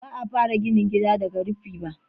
Ba a fara ginin gida daga rufin ba.